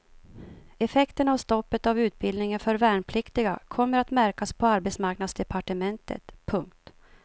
Effekterna av stoppet av utbildningen för värnpliktiga kommer att märkas på arbetsmarknadsdepartementet. punkt